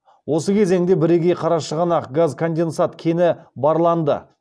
осы кезеңде бірегей қарашығанақ газконденсат кені барланды